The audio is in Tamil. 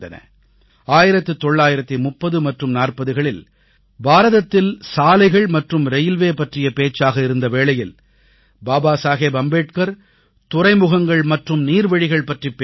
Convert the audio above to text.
1930 மற்றும் 1940களில் பாரதத்தில் சாலைகள் மற்றும் ரயில்வே பற்றிய பேச்சாக இருந்த வேளையில் பாபா சாஹேப் அம்பேத்கர் துறைமுகங்கள் மற்றும் நீர்வழிகள் பற்றிப் பேசினார்